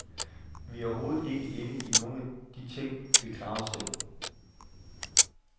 Vi er overhovedet ikke inde i nogen at de ting, vi klarer os selv.